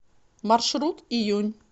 маршрут июнь